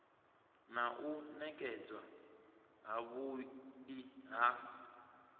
na u nekedzwa havhui ha